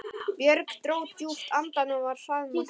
Björg dró djúpt andann og var hraðmælt